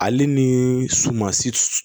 Ale ni sumansi